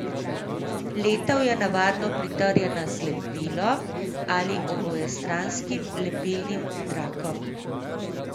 Letev je navadno pritrjena z lepilom ali obojestranskim lepilnim trakom.